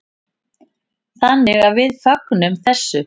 Þannig að við fögnum þessu.